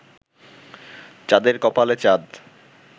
চাঁদের কপালে চাঁদ